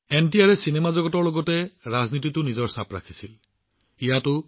এনটিআৰে চিনেমা জগতৰ লগতে ৰাজনীতিতো নিজৰ পৰিচয় গঢ়ি তুলিছিল